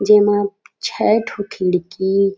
जेमा छह ठो खिड़की हे।